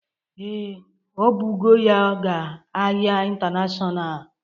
Ee, o bụgo ya ga ahịa intanashonal